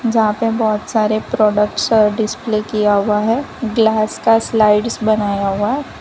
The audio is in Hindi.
जहां पे बहोत सारे प्रोडक्ट्स डिस्प्ले किया हुआ है ग्लास का स्लाइड्स बनाया हुआ --